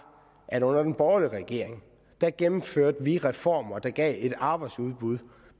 at under den borgerlige regering gennemførte vi reformer der gav et øget arbejdsudbud